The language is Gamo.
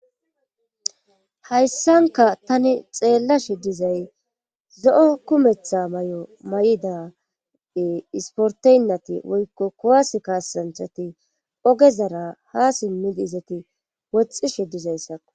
hayssanka tani xeella shiddizay zo7o kumetha may7o may7idade isporteynnati woykko kowas kaasanthati oge zara ha simmidi izati woxxi shiddizayssakko